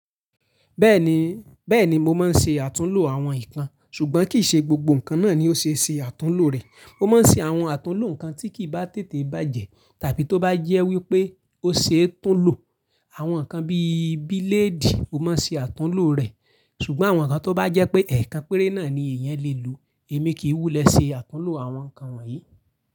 Bẹ́ẹ̀ ni, bẹ́ẹ̀ni mo máa ń ṣe àtúnlo àwọn ìpannkan, ṣùgbọ́n kìí ṣe gbogbo nǹkan náà ni ó ṣe é ṣe àtúnlo rẹ̀. Mo máa ń ṣe àwọn àtúnlo nǹkan tí kì í bá tètè bàjẹ́ tàbí tó bá jẹ́ wípé ó ṣe é túnlo. Àwọn nǹkan bí i bíléèdì, ó máa ń ṣe àtúnlo rẹ̀, ṣùgbọ́n àwọn nǹkan tó bá jẹ́ pé ẹ̀ẹ̀kan péré náà ni èèyàn lè lò, èmi kì í wúlẹ̀ ṣe àtúnlo àwọn nǹkan wọ̀nyí.